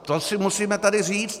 To si musíme tady říct.